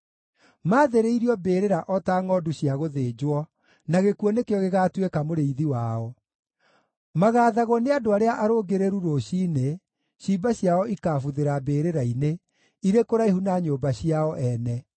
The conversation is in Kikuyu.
Maathĩrĩirio mbĩrĩra o ta ngʼondu cia gũthĩnjwo, na gĩkuũ nĩkĩo gĩgaatũĩka mũrĩithi wao. Magaathagwo nĩ andũ arĩa arũngĩrĩru rũciinĩ; ciimba ciao ikaabuthĩra mbĩrĩra-inĩ, irĩ kũraihu na nyũmba ciao nene.